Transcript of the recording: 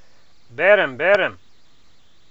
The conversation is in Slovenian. Berem, berem!